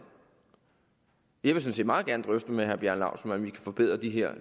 jeg vil sådan set meget gerne drøfte med herre bjarne laustsen hvordan vi kan forbedre de her